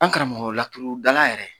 An karamɔgɔ, laturu dala yɛrɛ